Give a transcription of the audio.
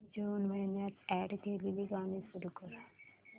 जून महिन्यात अॅड केलेली गाणी सुरू कर